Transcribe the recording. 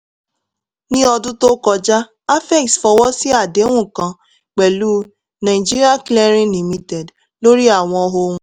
ní ọdún tó kọjá afex fọwọ́ sí àdéhùn kan pẹ̀lú ng clearing limited lórí àwọn ohun